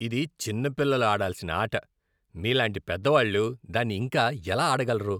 ఇది చిన్న పిల్లలు ఆడాల్సిన ఆట. మీలాంటి పెద్దవాళ్ళు దాన్ని ఇంకా ఎలా ఆడగలరు?